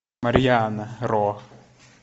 марьяна ро